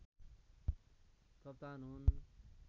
कप्तान हुन्